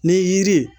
Ni yiri